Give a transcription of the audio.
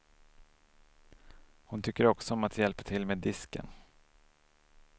Hon tycker också om att hjälpa till med disken.